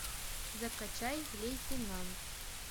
закачай лейтенант